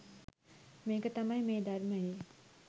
මේක තමයි මේ ධර්මයේ